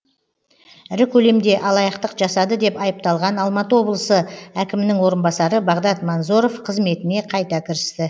ірі көлемде алаяқтық жасады деп айыпталған алматы облысы әкімнің орынбасары бағдат манзоров қызметіне қайта кірісті